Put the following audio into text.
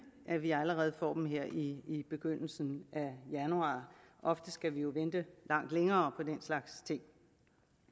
at vi allerede får dem her i i begyndelsen af januar ofte skal vi jo vente langt længere på den slags ting